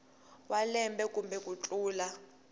wa malembe kumbe ku tlula